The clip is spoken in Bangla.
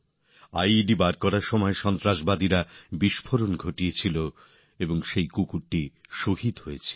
আই ই ডি উদ্ধারের সময় জঙ্গিরা বিস্ফোরণ ঘটায় আর কুকুরটি শহিদ হয়ে যায়